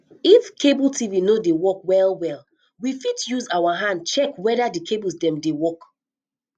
if cable tv non dey work well well we fit use our hand check weda di cables dem dey work